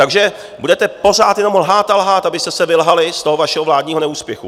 Takže budete pořád jenom lhát a lhát, abyste se vylhali z toho vašeho vládního neúspěchu.